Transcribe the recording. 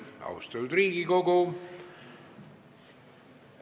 Austatud Riigikogu!